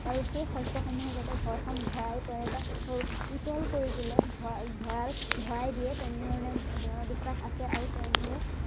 ভালকে শস্য়সমূহে যাতে ঘৰখন ভৰাই পৰাই বা নিপোটল কৰি তুলে ভৰাই ভৰাই ভৰাই দিয়ে তেনেধৰণে দৃঢ় বিশ্ৱাস আছে আৰু তেনেদৰে